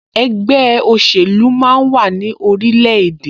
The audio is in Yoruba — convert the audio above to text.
Ẹgbẹ́ òṣèlú máa ń wà ní orilẹ̀-èdè